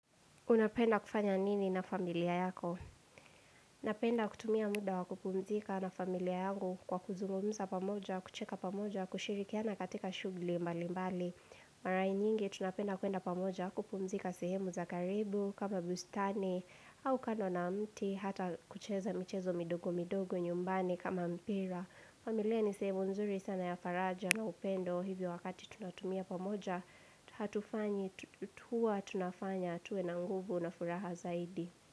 Unapenda kufanya nini na familia yako? Napenda kutumia muda wa kupumzika na familia yangu kwa kuzungumza pamoja, kucheka pamoja, kushirikiana katika shughuli mbali mbali. Marai nyingi tunapenda kwenda pamoja, kupumzika sehemu za karibu, kama bustani, au kando na mti, hata kucheza michezo midogo midogo nyumbani kama mpira. Familia ni sehemu nzuri sana ya faraja na upendo hivyo wakati tunatumia pamoja Hatufanyi, tuwa tunafanya tuwe na nguvu na furaha zaidi.